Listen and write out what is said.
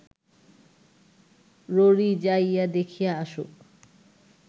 ররী যাইয়া দেখিয়া আসুক